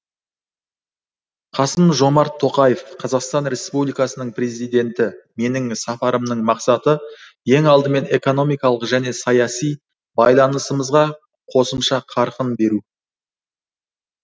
қасым жомарт тоқаев қазақстан республикасының президенті менің сапарымның мақсаты ең алдымен экономикалық және саяси байланысымызға қосымша қарқын беру